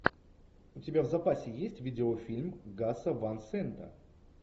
у тебя в запасе есть видеофильм гаса ван сента